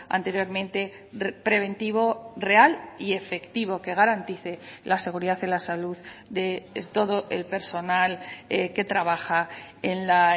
anteriormente preventivo real y efectivo que garantice la seguridad en la salud de todo el personal que trabaja en la